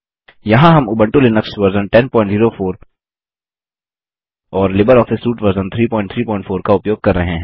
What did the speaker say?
यहाँ हम Ubuntu Linux version 1004 और लिबर ऑफिस सूट वर्जन 334